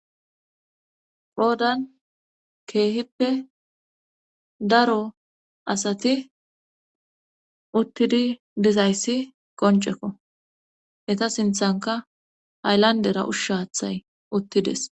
Poodan keehippe daro asati uttidi dizayssi qoncekko eta sinthanka hayllandera ushshaathay uttides.